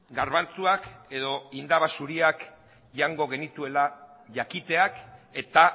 garbantzuak edo indaba zuriak jango genituela jakiteak eta